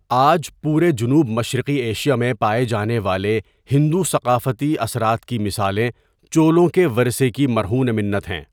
آج پورے جنوب مشرقی ایشیا میں پائے جانے والے ہندو ثقافتی اثرات کی مثالیں چولوں کے ورثے کی مرہون منت ہیں۔